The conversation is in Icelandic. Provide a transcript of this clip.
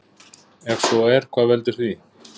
Ef svo er hvað veldur því?